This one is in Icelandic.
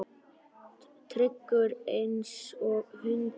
Tryggur einsog hundur.